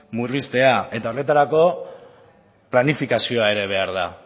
murriztea eta horretarako planifikazioa ere behar da